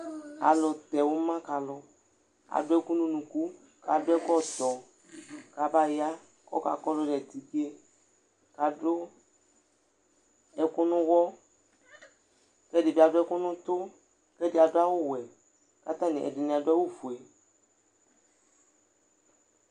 Alʋtɛ ʋma ka alʋ adʋ ɛkʋ nʋ unuku kʋ adʋ ɛkɔtɔ kʋ abaya kʋ ɔkakɔdʋ nʋ atike kʋ adʋ ɛkʋ nʋ ʋɣɔ kʋ ɛdɩ bɩ adʋ ɛkʋ nʋ ʋtʋ kʋ ɛdɩ adʋ awʋwɛ kʋ atanɩ, kʋ atanɩ ɛdɩnɩ adʋ awʋfue